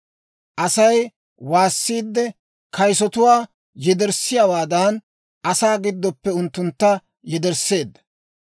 Asay waassiidde, kayisotuwaa yedersseeddawaadan, asaa giddoppe unttuntta yedersseedda.